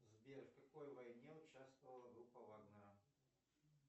сбер в какой войне участвовала группа вагнера